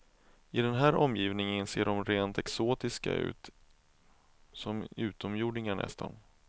I den här omgivningen ser de rent exotiska ut, som utomjordingar nästan.